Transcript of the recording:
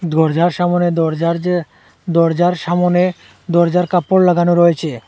দরজার সামোনে দরজার যে দরজার সামোনে দরজার কাপড় লাগানো রয়েছে।